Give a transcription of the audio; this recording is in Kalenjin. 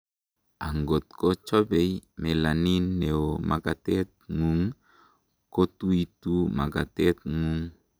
angot ko chobei melanin neo makatet ngung, kotuitu makatet ngung